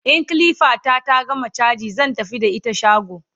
in kilifa ta ta gama chaji zan tafi da ita shago